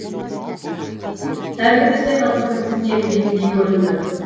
сәл кідірсе қасқырдың тісіне ілігетіндей көрінді